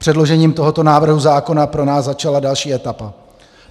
Předložením tohoto návrhu zákona pro nás začala další etapa.